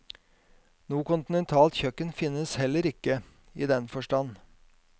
Noe kontinentalt kjøkken finnes heller ikke, i den forstand.